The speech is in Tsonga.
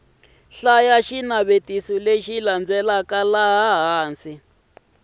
xinavetiso lexi landzelaka laha hansi